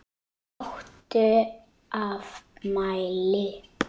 Áttu afmæli?